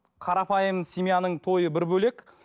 қарапайым семьяның тойы бір бөлек